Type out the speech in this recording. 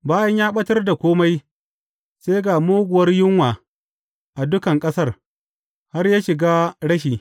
Bayan ya ɓatar da kome, sai ga muguwar yunwa a dukan ƙasar, har ya shiga rashi.